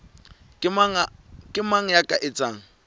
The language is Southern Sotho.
ke mang ya ka etsang